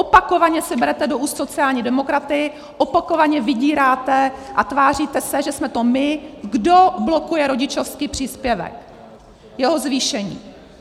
Opakovaně si berete do úst sociální demokraty, opakovaně vydíráte a tváříte se, že jsme to my, kdo blokuje rodičovský příspěvek, jeho zvýšení.